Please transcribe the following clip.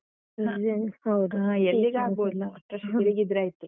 ಹ. ಎಲ್ಲಿಗೂ ಆಗ್ಬೋದು ಒಟ್ರಾಶಿ ತಿರುಗಿದ್ರಾಯ್ತು.